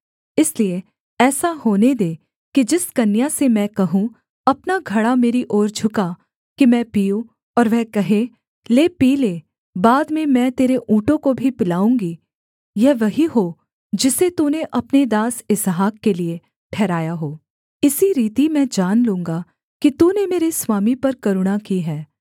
इसलिए ऐसा होने दे कि जिस कन्या से मैं कहूँ अपना घड़ा मेरी ओर झुका कि मैं पीऊँ और वह कहे ले पी ले बाद में मैं तेरे ऊँटों को भी पिलाऊँगी यह वही हो जिसे तूने अपने दास इसहाक के लिये ठहराया हो इसी रीति मैं जान लूँगा कि तूने मेरे स्वामी पर करुणा की है